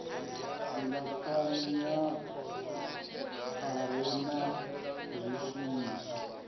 silahapani a re na zwishumiswa